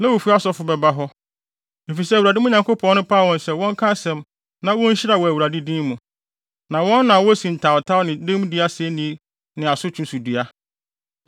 Lewifo asɔfo bɛba hɔ, efisɛ Awurade, mo Nyankopɔn no, paw wɔn sɛ wɔnka asɛm na wonhyira wɔ Awurade din mu. Na wɔn na wosi ntawntaw ne dɛmdi asenni ne asotwe so dua.